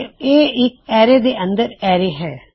ਤੇ ਇਹ ਇਕ ਐਰੇ ਦੇ ਅੰਦਰ ਐਰੇ ਹੈ